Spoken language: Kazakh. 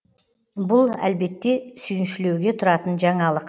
бұл әлбетте сүйіншілеуге тұратын жаңалық